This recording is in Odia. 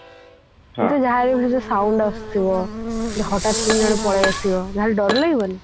ତୁ ଯାହା ହେଲେବି ସେ ଯୋଉ sound ଆସୁଥିବ ହଟାତ କିଣି ଜେନ ପଳେଈ ଆସିବ ଯାହାଲେ ଡର ଲାଗିବ ନି